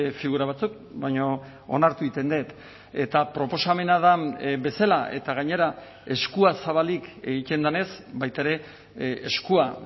figura batzuk baina onartu egiten dut eta proposamena da bezala eta gainera eskua zabalik egiten denez baita ere eskua